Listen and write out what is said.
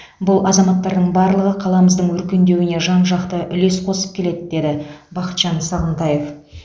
бұл азаматтардың барлығы қаламыздың өркендеуіне жан жақты үлес қосып келеді деді бақытжан сағынтаев